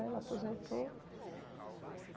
Ela aposentou.